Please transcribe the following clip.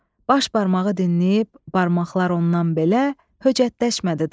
Baş barmağı dinləyib, barmaqlar ondan belə höcətləşmədi daha.